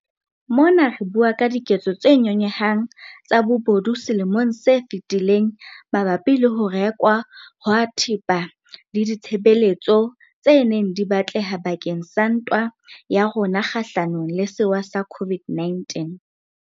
Mona re bua ka diketso tse nyonyehang tsa bobodu selemong se fetileng mabapi le ho rekwa ha thepa le ditshebeletso tse neng di batleha bakeng sa ntwa ya rona kgahlanong le sewa sa COVID-19.